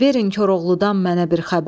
Verin Koroğludan mənə bir xəbər.